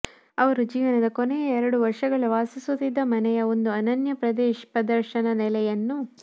ಅವರು ಜೀವನದ ಕೊನೆಯ ಎರಡು ವರ್ಷಗಳ ವಾಸಿಸುತ್ತಿದ್ದ ಮನೆಯ ಒಂದು ಅನನ್ಯ ಪ್ರದರ್ಶನ ನೆಲೆಯನ್ನು